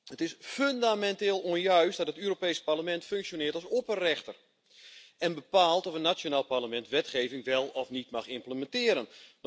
Het is fundamenteel onjuist dat het Europees Parlement functioneert als opperrechter en bepaalt of een nationaal parlement wetgeving wel of niet mag implementeren.